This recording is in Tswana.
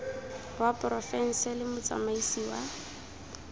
wa porofense le motsamaisi wa